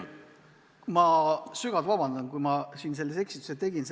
Ma sügavalt vabandan, kui ma siin sellise eksituse tegin.